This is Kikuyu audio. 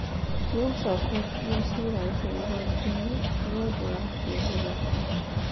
Nĩ acoketie ciira ũcio igooti-inĩ. Nĩ ũndũ wa kĩoho giake.